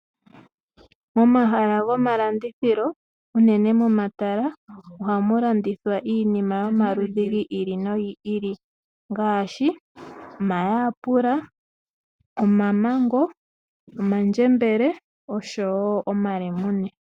Momahala gomalandithilo unene momatala oha mu landithwa iinima yomaludhi gi ili nogi ili ngaashi omayapula, mamengo, omandjembele noshowo omalemune.